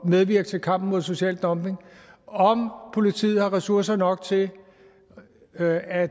medvirke til kampen mod social dumping om politiet har ressourcer nok til at at